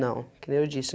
Não, que nem eu disse.